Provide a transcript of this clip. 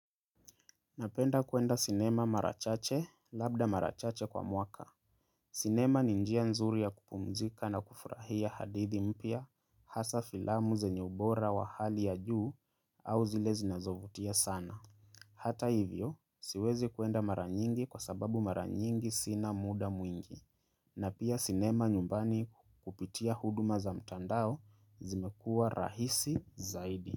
Napenda kuenda sinema marachache, labda marachache kwa mwaka. Sinema ni njia nzuri ya kupumzika na kufurahia hadithi mpya, hasa filamu zenye ubora wa hali ya juu au zile zinazovutia sana. Hata hivyo, siwezi kuenda maranyingi kwa sababu maranyingi sina muda mwingi. Na pia sinema nyumbani kupitia huduma za mtandao zimekua rahisi zaidi.